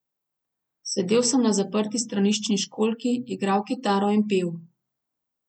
Sedel sem na zaprti straniščni školjki, igral kitaro in pel.